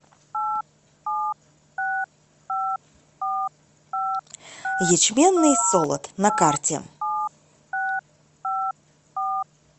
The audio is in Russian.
ячменный солод на карте